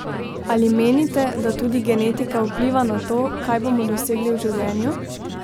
Ali menite, da tudi genetika vpliva na to, kaj bomo dosegli v življenju?